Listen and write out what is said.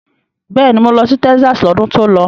Bẹ́ẹ̀ni, mo lọ sí Texas lọ́dún tó lọ.